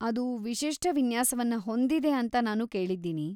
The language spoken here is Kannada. ಅದು ವಿಶಿಷ್ಟ ವಿನ್ಯಾಸವನ್ನ ಹೊಂದಿದೆ ಅಂತ ನಾನು ಕೇಳಿದ್ದೀನಿ.